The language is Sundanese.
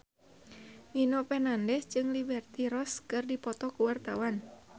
Nino Fernandez jeung Liberty Ross keur dipoto ku wartawan